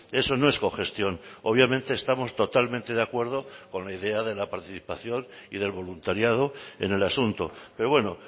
eso no es cogestión obviamente estamos totalmente de acuerdo con la idea de la participación y del voluntariado en el asunto pero bueno